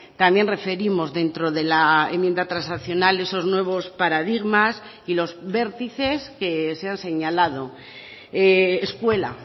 también referimos dentro de la enmienda transaccional esos nuevos paradigmas y los vértices que se han señalado escuela